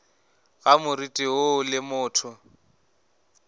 ga moriti woo le motho